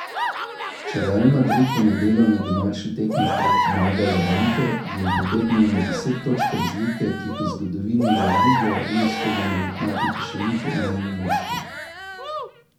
Če Real Madrid v nedeljo na domači tekmi premaga Levante, bi jim pobegnil na deset točk razlike, ki jih v zgodovini La Lige ni uspelo nadoknaditi še niti enemu moštvu.